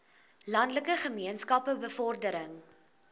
landelike gemeenskappe bevordering